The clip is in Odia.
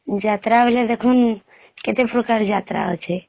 ଯାତ୍ରା ବୋଇଲେ ଦେଖୁନ କେତେ ପ୍ରକାର ଯାତ୍ରା ଅଛେ